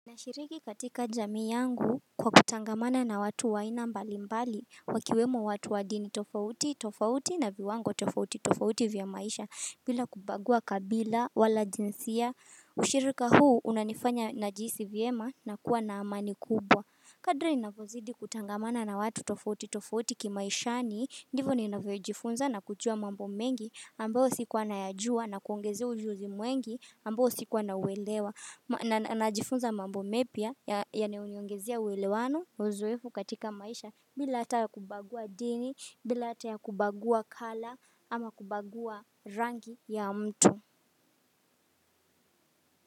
Nashiriki katika jamii yangu kwa kutangamana na watu wa aina mbali mbali Wakiwemo watu wa dini tofauti tofauti na viwango tofauti tofauti vya maisha bila kubagua kabila wala jinsia Usirika huu unanifanya na jihisi vyema na kuwa na amani kubwa Kadri ninavyozidi kutangamana na watu tofauti tofauti kimaishani Ndivyo ninavyojifunza na kujua mambo mengi ambao sikua nayajua na kuongezea ujuzi mwengi ambao sikuwanauelewa na najifunza mambo mepya yanayoniongezea ewelewano na ozoefu katika maisha bila hata ya kubagua dini, bila hata ya kubagua kala ama kubagua rangi ya mtu.